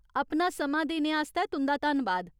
अपना समां देने आस्तै तुं'दा धन्नबाद।